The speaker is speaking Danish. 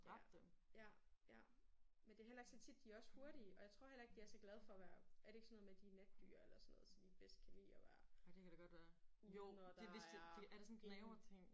Ja ja ja men det heller ikke så tit. De er også hurtige og jeg tror heller ikke de er så glade for at være er det ikke sådan noget med at de er natdyr eller sådan noget så de bedst kan lide at være ude når der er ingenting